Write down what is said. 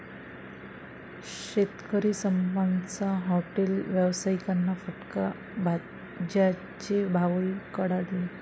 शेतकरी संपाचा हाॅटेल व्यावसायिकांना फटका, भाज्यांचे भावही कडाडले